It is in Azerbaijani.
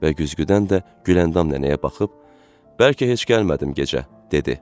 Və güzgüdən də Güləndam nənəyə baxıb, "Bəlkə heç gəlmədim gecə," dedi.